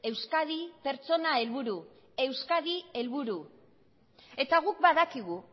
euskadi pertsona helburu euskadi helburu eta guk badakigu